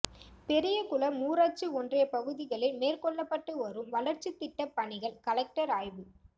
பெரியகுளம் ஊராட்சி ஒன்றியப்பகுதிகளில் மேற்கொள்ளப்பட்டு வரும் வளர்ச்சித்திட்டப்பணிகள் கலெக்டர் ஆய்வு